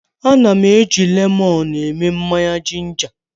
Ana m eji lemọnụ eme mmanya jinja.